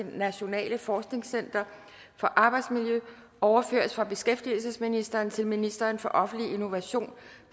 nationale forskningscenter for arbejdsmiljø overføres fra beskæftigelsesministeren til ministeren for offentlig innovation